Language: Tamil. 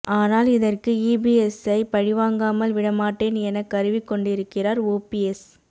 ஆனால் இதற்கு இபிஎஸ்ஐ பழிவாங்காமல் விடமாட்டேன் என கறுவிக் கொண்டிருக்கிறார் ஓபிஎஸ்